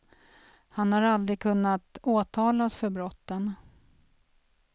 Han har aldrig kunnat åtalas för brotten.